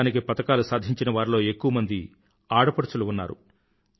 దేశానికి పతకాలు సాధించినవారిలో ఎక్కువమంది ఆడపడుచులు ఉన్నారు